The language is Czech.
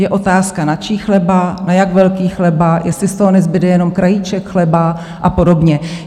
Je otázka, na čí chleba, na jak velký chleba, jestli z toho nezbude jenom krajíček chleba a podobně.